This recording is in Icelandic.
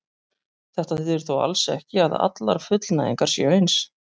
Þetta þýðir þó alls ekki að allar fullnægingar séu eins.